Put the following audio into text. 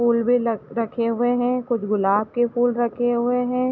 फूल भी लख- रखे हुए हैं कुछ गुलाब के फूल रखे हुए हैं।